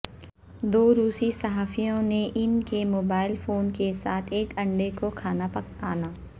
دو روسی صحافیوں نے ان کے موبائل فون کے ساتھ ایک انڈے کو کھانا پکانا